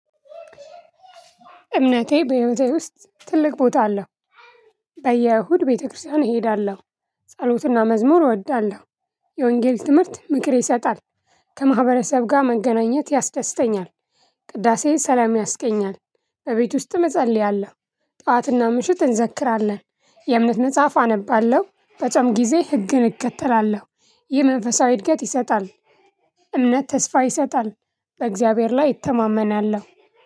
እምነቴ በህይወቴ ውስጥ ትልቅ ቦታ አለው። በየእሁድ ቤተክርስቲያን እሄዳለሁ። ጸሎትና መዝሙር እወዳለሁ። የወንጌል ትምህርት ምክር ይሰጣል። ከማህበረሰብ ጋር መገናኘት ያስደስተኛል። ቅዳሴ ሰላም ያስገኛል። እቤት ውስጥ እጸልያለሁ ጣትና ምሽት እንዘክራለን። የእምነት መጽሐፍ አነባለሁ በጾም ጊዜ ህግን እከተላለሁ። ይህ መንፈሳዊ እድገት ይሰጣል። እምነት ተስፋ ይሰጣል። በእግዚአብሔር ላይ እተማመናለሁ።